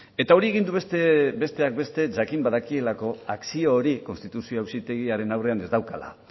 eta hori egin du besteak beste jakin badakielako akzio hor konstituzio auzitegiaren aurrean ez daukala